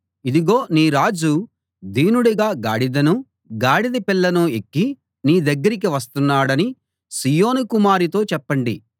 ఇదిగో నీ రాజు దీనుడుగా గాడిదను గాడిద పిల్లను ఎక్కి నీ దగ్గరికి వస్తున్నాడని సీయోను కుమారితో చెప్పండి